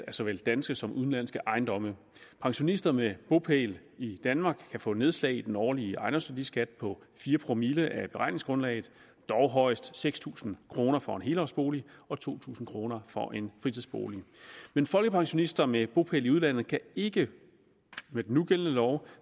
af såvel danske som udenlandske ejendomme pensionister med bopæl i danmark kan få nedslag i den årlige ejendomsværdiskat på fire promille af beregningsgrundlaget dog højst seks tusind kroner for en helårsbolig og to tusind kroner for en fritidsbolig men folkepensionister med bopæl i udlandet kan ikke med den nugældende lov